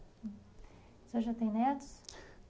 Você já tem netos?